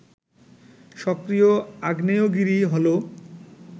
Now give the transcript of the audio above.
সক্রিয় আগ্নেয়গিরি হলো